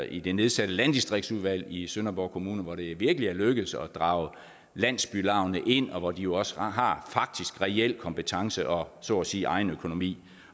i det nedsatte landdistriktsudvalg i sønderborg kommune hvor det virkelig er lykkedes at drage landsbylaugene ind og hvor de jo faktisk også har reel kompetence og så at sige egen økonomi